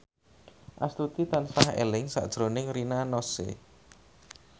Astuti tansah eling sakjroning Rina Nose